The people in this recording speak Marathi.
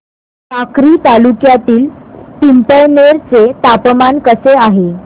साक्री तालुक्यातील पिंपळनेर चे तापमान कसे आहे